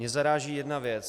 Mě zaráží jedna věc.